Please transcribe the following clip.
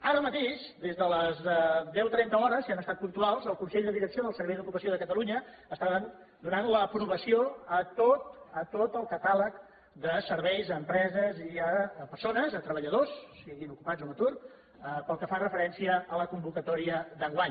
ara mateix des de les deu trenta hores si han estat puntuals el consell de direcció del servei d’ocupació de catalunya estava donant l’aprovació a tot el catàleg de serveis a empreses i a persones a treballadors siguin ocupats o en atur pel que fa referència a la convocatòria d’enguany